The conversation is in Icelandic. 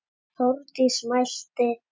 Þórdís mælti: